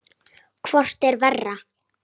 Hvort er verra?